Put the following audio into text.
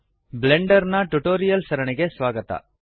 Blender ನ tutorials ಸರಣಿಗೆ ಸ್ವಾಗತ